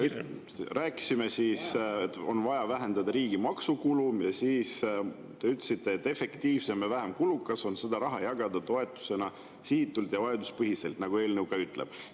Rääkisime, et on vaja vähendada riigi maksukulu, te ütlesite, et efektiivsem ja vähem kulukas on seda raha jagada toetusena sihitult ja vajaduspõhiselt, nagu eelnõu ka ütleb.